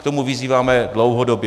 K tomu vyzýváme dlouhodobě.